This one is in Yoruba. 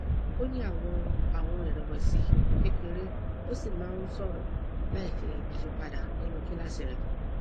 ó ní àwọn àwọn ìrẹwẹsì kékeré ó sì máa ń sọrọ láìṣe ìyípadà nínú kíláàsì rẹ